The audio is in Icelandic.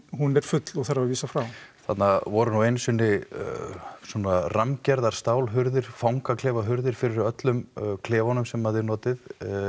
hún er full og þarf að vísa frá þarna voru nú einu sinni svona rammgerðar stálhurðir fangaklefahurðir fyrir öllum klefunum sem að þið notið